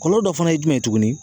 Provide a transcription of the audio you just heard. Kɔɔlɔ dɔ fana ye jumɛn ye tuguni?